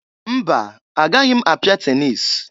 Mba! Agaghi m apịa tenis.